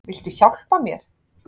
Viltu hjálpa mér?